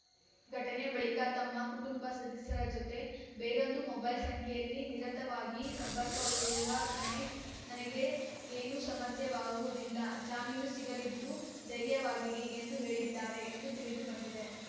ಘಟನೆ ಬಳಿಕ ತಮ್ಮ ಕುಟುಂಬ ಸದಸ್ಯರ ಜೊತೆ ಬೇರೊಂದು ಮೊಬೈಲ್‌ ಸಂಖ್ಯೆಯಲ್ಲಿ ನಿರತವಾಗಿ ಸಂಪರ್ಕಲ್ಲಿರುವ ಗಣೇಶ್‌ ನನಗೆ ಏನೂ ಸಮಸ್ಯೆಯಾಗುವುದಿಲ್ಲ ಜಾಮೀನು ಸಿಗಲಿದ್ದು ಧೈರ್ಯವಾಗಿರಿ ಎಂದು ಹೇಳಿದ್ದಾರೆ ಎಂದು ತಿಳಿದು ಬಂದಿದೆ